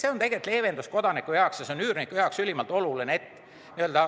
See tähendab kodanikele suurt leevendust ja on üürniku jaoks ülimalt oluline.